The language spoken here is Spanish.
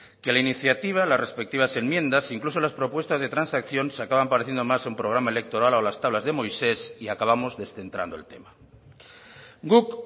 que la iniciativa las respectivas enmiendas incluso las propuestas de transacción se acaban pareciendo más a un programa electoral o a las tablas de moisés y acabamos descentrando el tema guk